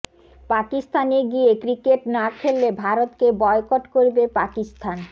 পাকিস্তানে গিয়ে ক্রিকেট না খেললে ভারতকে বয়কট করবে পাকিস্তান